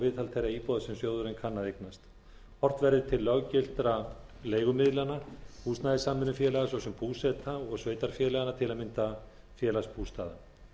viðhald þeirra íbúða sem sjóðurinn kann að eignast horft verði til löggiltra leigumiðlana húsnæðissamvinnufélaga svo sem búseta og sveitarfélaganna tam félagsbústaða